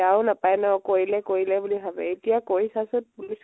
বেয়াও নাপায় ন, কৰিলে কৰিলে বুলি ভালে। এতিয়া কৰি চা চোন police